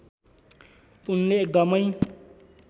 उनले एकदमै